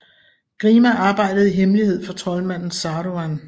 Grima arbejdede i hemmelighed for troldmanden Saruman